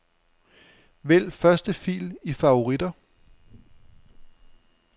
Vælg første fil i favoritter.